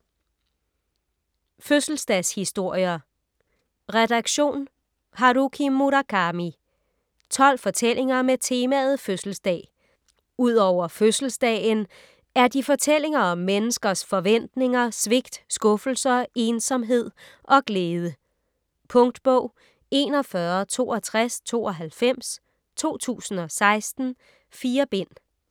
Fødselsdagshistorier Redaktion: Haruki Murakami 12 fortællinger med temaet fødselsdag. Ud over fødselsdagen er de fortællinger om menneskers forventninger, svigt, skuffelser, ensomhed og glæde. Punktbog 416292 2016. 4 bind.